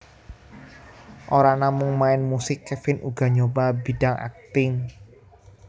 Ora namung main musik Kevin uga nyoba bidang akting